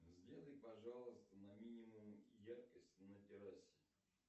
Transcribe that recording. сделай пожалуйста на минимум яркость на террасе